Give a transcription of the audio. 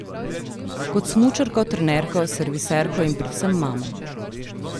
Kot smučarko, trenerko, serviserko in predvsem mamo.